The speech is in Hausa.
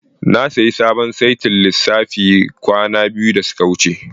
Na sayi sabon saitin lissafi kwana biyu da suka wuce.